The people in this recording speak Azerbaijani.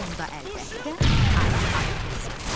Onda əlbəttə arı ayı olsaydı.